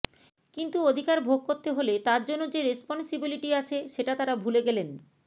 কিন্তু অধিকার ভোগ করতে হলে তার জন্য যে রেসপনসিবিলিটি আছে সেটা তারা ভুলে গেলেন